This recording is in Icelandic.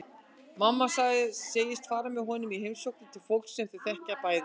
Mamma segist fara með honum í heimsóknir til fólks sem þau þekkja bæði.